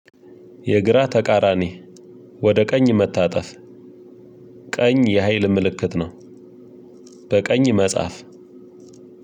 የግራ ተቃራኒ ወደ ቀኝ መታጠፍ ቀኝ የሀይል ምልክት ነው። በቀኝ መጽሐፍ